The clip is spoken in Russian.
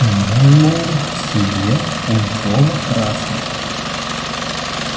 мэллоу сидел пунцово-красный